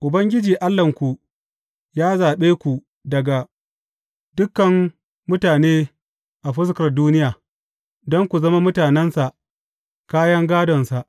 Ubangiji Allahnku ya zaɓe ku daga dukan mutane a fuskar duniya, don ku zama mutanensa, kayan gādonsa.